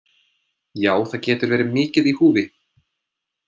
Já, það getur verið mikið í húfi.